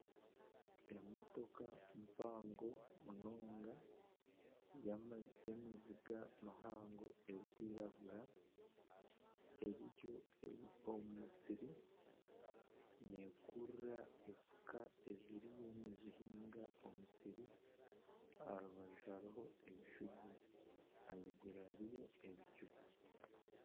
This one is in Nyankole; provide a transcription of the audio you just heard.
Emotoka mpango munonga y'emiziga mihango erikwiragura eri omu musiri neekurura efuka eziriyo nizihiinga omu musiri aha rubaju hariho ebishugi, ahaiguru hariyo ebicu.